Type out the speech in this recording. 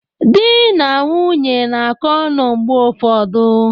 Di na nwunye na-akọ ọnụ mgbe ụfọdụ.